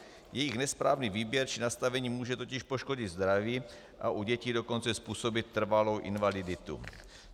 Jejich nesprávný výběr či nastavení může totiž poškodit zdraví, a u dětí dokonce způsobit trvalou invaliditu.